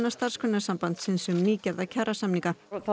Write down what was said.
Starfsgreinasambandsins um nýgerða kjarasamninga